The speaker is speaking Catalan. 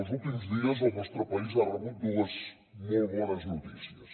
els últims dies el nostre país ha rebut dues molt bones notícies